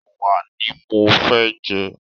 Ẹwà ní mọ fẹ́ jẹ.